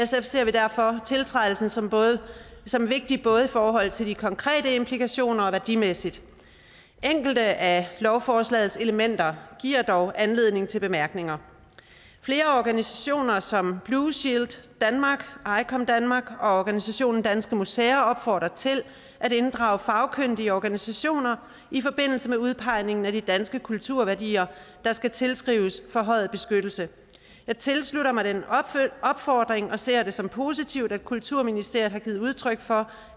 ser vi derfor tiltrædelsen som som vigtig både i forhold til de konkrete implikationer og værdimæssigt enkelte af lovforslagets elementer giver dog anledning til bemærkninger flere organisationer som blue shield danmark icom danmark og organisationen danske museer opfordrer til at inddrage fagkyndige organisationer i forbindelse med udpegningen af de danske kulturværdier der skal tilskrives forhøjet beskyttelse jeg tilslutter mig den opfordring og ser det som positivt at kulturministeriet har givet udtryk for